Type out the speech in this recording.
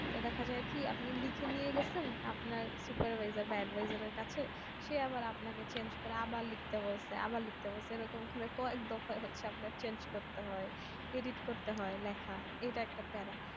তো দেখা যাই কি আপনি লিখে নিয়ে গেছেন আপনার supervisor বা adviser এর কাছে সে আবার আপনাকে change করে আবার লিখতে বলছে আবার লিখতে বলছে এরকম শুনে তো একদফায় আপনাকে change করতে হয় edit করতে হয় এইটা একটা প্যারা